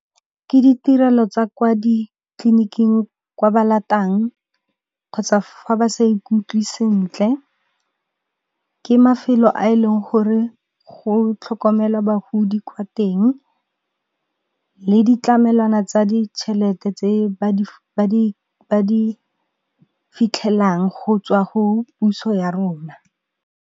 Ke ditirelo tsa kwa ditleliniking kwa ba latang, kgotsa fa ba sa ikutlwe sentle. Ke mafelo a e leng gore go tlhokomelwa bagodi kwa teng, le ditlamelwana tsa ditšhelete tse ba di fitlhelang go tswa go puso ya rona.